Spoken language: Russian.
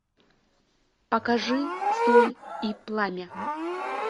покажи соль и пламя